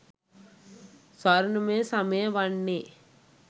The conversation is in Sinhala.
ස්වර්ණමය සමය වන්නේ